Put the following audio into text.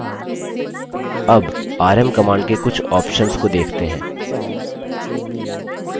अब rm command के कुछ options को देखते हैं